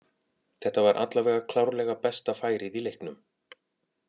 Þetta var allavega klárlega besta færið í leiknum.